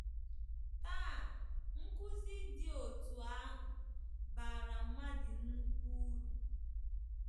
“Taa, nkụzi dị otú ahụ bara mmadụ nnukwu uru.